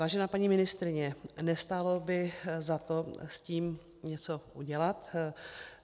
Vážená paní ministryně, nestálo by za to s tím něco udělat?